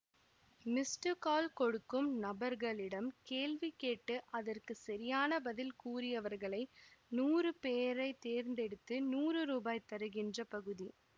missed call கொடுக்கும் நபர்களிடம் கேள்வி கேட்டு அதற்கு சரியான பதில் கூறியவர்களை நூறு பேரை தேர்ந்தெடுத்து நூறு ரூபாய் தருகின்ற பகுதி